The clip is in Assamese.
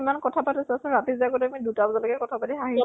কথা পাতো আৰু ৰাতি যে আমি আগতে দুটা বজালৈ কথা পাতি হাহি